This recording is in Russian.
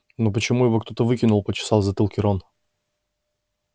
но почему его кто-то выкинул почесал в затылке рон